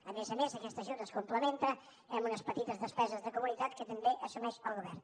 a més a més aquest ajut es complementa eh amb unes petites despeses de comunitat que també assumeix el govern